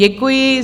Děkuji.